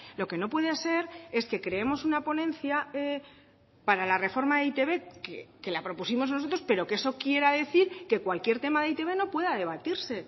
lo que no puede ser es que creemos una ponencia para la reforma de e i te be que la propusimos nosotros pero que eso quiera decir que cualquier tema de e i te be no pueda debatirse